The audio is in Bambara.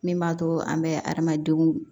Min b'a to an bɛ adamadenw